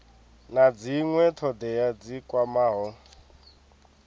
na dzinwe thodea dzi kwamaho